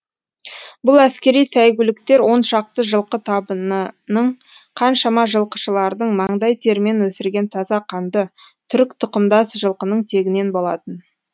бұл әскери сәйгүліктер оншақты жылқы табынының қаншама жылқышылардың маңдай терімен өсірген таза қанды түрік тұқымдас жылқының тегінен болатын